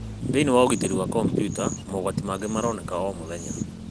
Thĩinĩ wa ũgitĩri wa kompiuta, mogwati mangĩ maronekaga o mũthenya.